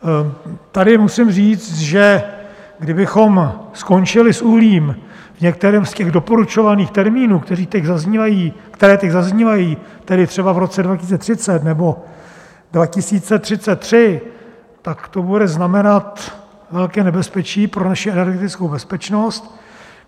Tady musím říct, že kdybychom skončili s uhlím v některém z těch doporučovaných termínů, které teď zaznívají, tedy třeba v roce 2030 nebo 2033, tak to bude znamenat velké nebezpečí pro naši energetickou bezpečnost.